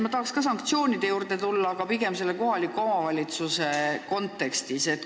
Ma tuleksin ka sanktsioonide juurde, aga pigem kohaliku omavalitsuse kontekstis.